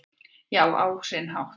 Já, á sinn hátt